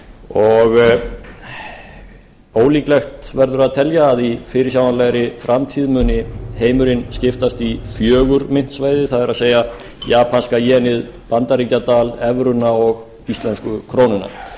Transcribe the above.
og ólíklegt verður að telja að í fyrirsjáanlegri framtíð muni heimurinn skiptast í fjögur myntsvæði það er japanska jenið bandaríkjadal evruna og íslensku krónuna